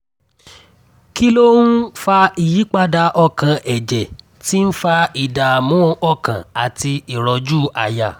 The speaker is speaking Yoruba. kí ló ń fa ìyípadà ọkàn ẹ̀jẹ̀ tí ń fa ìdààmú ọkàn àti ìrọ́jú àyà?